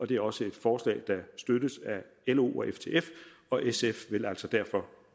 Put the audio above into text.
det er også et forslag der støttes af lo og ftf og sf vil altså derfor